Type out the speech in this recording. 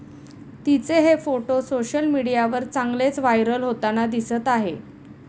तिचे हे photo social मीडियावर चांगलेच व्हायरल होताना दिसत आहे.